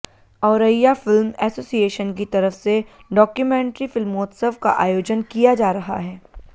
Auraiya film association की तरफ से डाक्यूमेंट्री फिल्मोत्सव का आयोजन किया जा रहा है